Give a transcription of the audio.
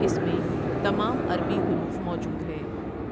اس میں تمام عربی حروف موجود ہے ۔